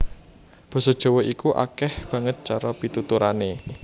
Basa Jawa iku akèh banget cara pituturané